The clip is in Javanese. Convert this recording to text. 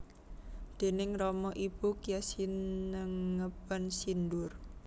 Déning rama ibu gya sinengeban sindur